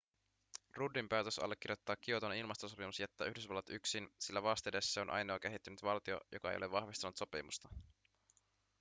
ruddin päätös allekirjoittaa kioton ilmastosopimus jättää yhdysvallat yksin sillä vastedes se on ainoa kehittynyt valtio joka ei ole vahvistanut sopimusta